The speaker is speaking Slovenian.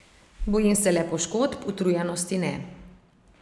Bojim se le poškodb, utrujenosti ne.